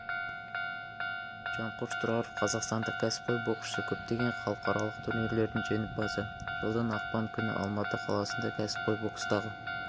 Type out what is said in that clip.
жанқош тұраров қазақстандық қәсіпқой боксшы көптеген халықаралық турнирлердің жеңімпазы жылдың ақпан күні алматы қаласында кәсіпқой бокстағы